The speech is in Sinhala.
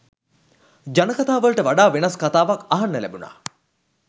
ජනකථා වලට වඩා වෙනස් කථාවක් අහන්න ලැබුණා